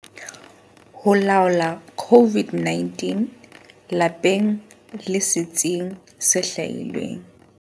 Ho laola COVID-19 lapeng le setsing se hlwahilweng.